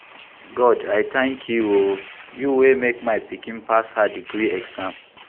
God I tank you o, you wey make my pikin pass her degree exam.